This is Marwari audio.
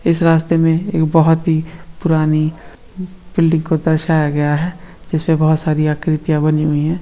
इस रास्ते मे एक बहुत ही पुरानी बिल्डिंग को दरसाया गया है जिसपे बहुत सारी आकृतियाँ बनी हुई है।